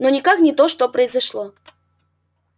но никак не то что произошло